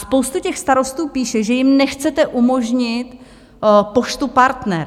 Spousta těch starostů píše, že jim nechcete umožnit Poštu Partner.